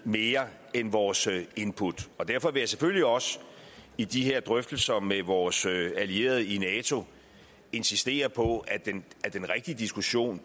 mere end vores input og derfor vil jeg selvfølgelig også i de her drøftelser med vores allierede i nato insistere på at den rigtige diskussion